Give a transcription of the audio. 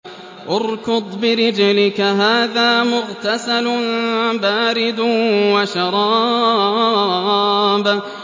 ارْكُضْ بِرِجْلِكَ ۖ هَٰذَا مُغْتَسَلٌ بَارِدٌ وَشَرَابٌ